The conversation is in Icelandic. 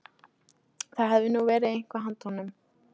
Það hefði nú verið eitthvað handa honum